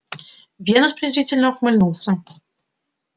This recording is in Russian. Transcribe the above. венус презрительно ухмыльнулся